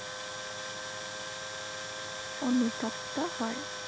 অনুতপ্ত হয়।